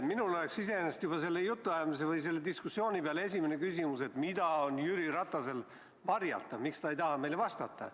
Minul oleks juba selle jutuajamise või diskussiooni peale esimene küsimus, et mida on Jüri Ratasel varjata, miks ta ei taha meile vastata.